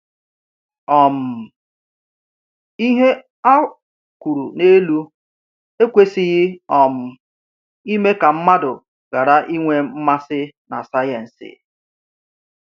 um Ihe a kwuru n’elu ekwesịghị um ime ka mmadụ ghara inwe mmasị na sayensị.